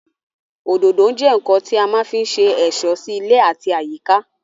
Òdòdó jẹ́ ǹǹkan tí a má ń fí se ẹ̀ṣọ́ sí ilé àti àyíká